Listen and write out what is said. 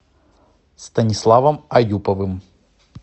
станиславом аюповым